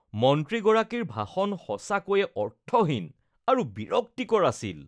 মন্ত্ৰীগৰাকীৰ ভাষণ সঁচাকৈয়ে অৰ্থহীন আৰু বিৰক্তিকৰ আছিল।